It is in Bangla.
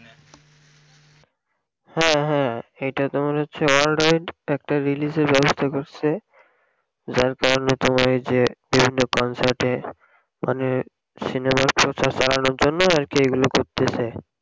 হ্যাঁ হ্যাঁ এটা তো মনে হচ্ছে world wide একটা release এর ব্যাবস্থা করসে যার কারণ হতে পারে যে বিভিন্ন concert এ মানে সিনেমার প্রচার চালনোর জন্য আরকি এগুলো করতেসে